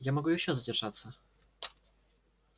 я могу ещё задержаться